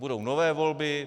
Budou nové volby.